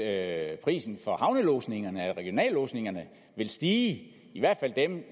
at prisen for havnelodsningerne eller regionallodsningerne vil stige i hvert fald dem